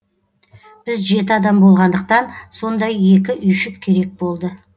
біз жеті адам болғандықтан сондай екі үйшік керек болды